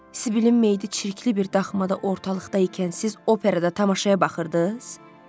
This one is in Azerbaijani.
Sibilin meyidi çirkli bir daxmada ortalıqda ikən siz operada tamaşaya baxırdız?